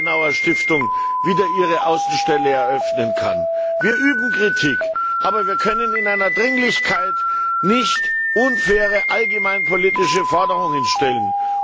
die Konrad Adenauer Stiftung wieder ihre Außenstelle eröffnen kann. Wir üben Kritik, aber wir können in einer Dringlichkeit nicht unfaire allgemeinpolitische Forderungen stellen.